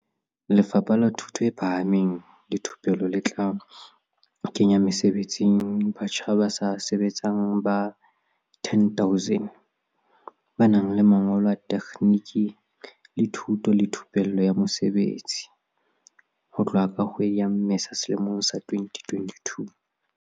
Lefapha la Thuto e Phahameng le Thupelo le tla kenya mesebetsing batjha ba sa sebetseng ba 10 000 ba nang le mangolo a tekgniki le thuto le thupelo ya mosebetsi, TVET, ho tloha ka kgwedi ya Mmesa selemong sa 2022.